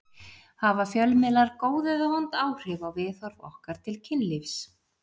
Hafa fjölmiðlar góð eða vond áhrif á viðhorf okkar til kynlífs?